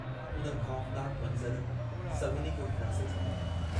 उन ख़ौफ़नाकु मंज़र सभिनी खे हिरासे छॾियो।